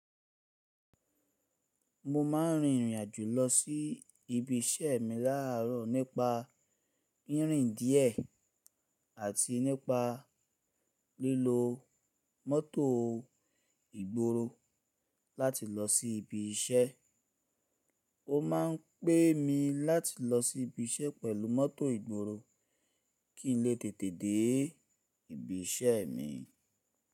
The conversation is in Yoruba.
Mo maa n rìn ìrìn àjò lọ sí ibi iṣẹ́ mi láààrọ̀ nípa ìrìn díẹ̀ àti nípa lílo mọ́tò ìgboro láti lọ sí ibi iṣẹ́. Ó ma n pé mi láti lọ sí ibi iṣẹ́ pẹ̀lú mọ́tò ìgboro kí n lè tètè dé ibi iṣẹ́ mi.